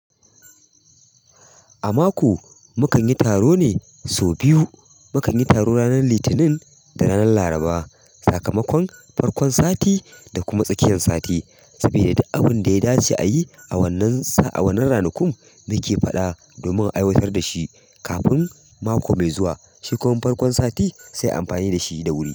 A mako mu kan yi taro ne sau biyu. Mu kan yi taro ranar Litinin da ranar Laraba. Sakamakon farkon sati da kuma tsakiyan sati. Mutum yayi duk abinda ya dace a yi, a wannan. A wannan ranakun muke faɗa domin a aiwatar da shi kafin mako mai zuwa. Shi kuma farkon sati sai ayi amfani da shi da wuri.